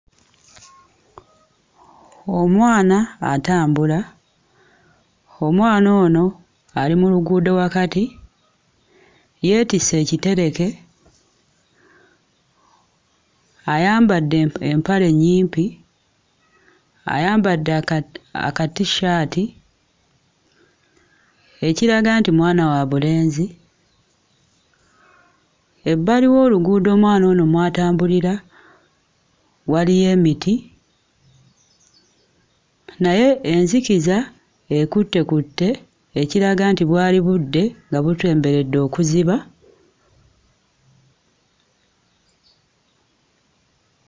Omwana atambula, omwana ono ali mu luguudo wakati yeetisse ekitereke, ayambadde empa empale ennyimpi, ayambadde aka aka t-shirt ekiraga nti mwana wa bulenzi. Ebbali w'oluguudo omwana ono mw'atambulira waliyo emiti naye enzikiza ekuttekutte ekiraga nti bwali budde nga busemberedde okuziba.